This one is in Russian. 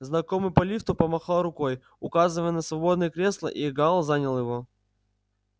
знакомый по лифту помахал рукой указывая на свободное кресло и гаал занял его